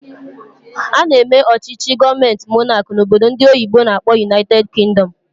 Ana eme ọchịchị gọọmenti monáki n'obodo ndị oyibo n'akpọ "United Kingdom"